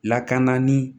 Lakana ni